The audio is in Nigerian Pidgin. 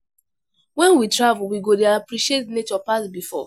When we travel, we go dey appreciate nature pass before